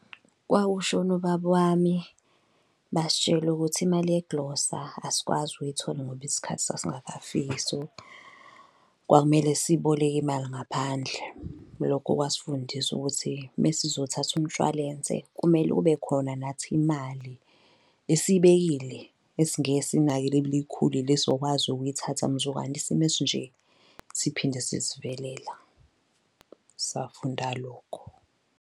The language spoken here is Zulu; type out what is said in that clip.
Kwakwushone ubaba wami basitshele ukuthi imali yegilosa asikwazi ukuyithola ngoba isikhathi sasingakafiki. So, kwakumele siboleke imali ngaphandle. Lokho kwasifundisa ukuthi mesizothatha umshwalense kumele kube khona nathi imali esiyibekile esingeke siyinake, elibele ikhulile esizokwazi ukuyithatha mzukwane isimo esinje siphinde sisivelela safunda lokho.